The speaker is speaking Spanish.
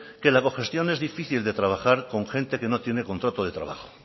que la cogestión es difícil de trabajar con gente que no tiene contrato de trabajo